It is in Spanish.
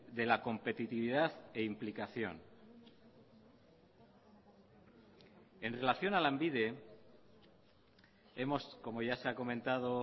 de la competitividad e implicación en relación a lanbide como ya se ha comentado